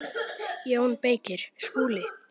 JÓN BEYKIR: Skúli!